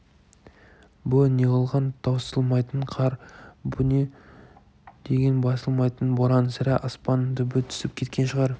бұ неғылған таусылмайтын қар бұ не деген басылмайтын боран сірә аспанның түбі түсіп кеткен шығар